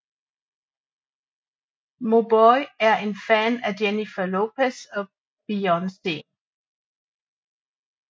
Mauboy er en fan af Jennifer Lopez og Beyoncé